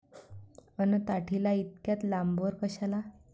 अन ताटीला इतक्या लांबवर कशाला?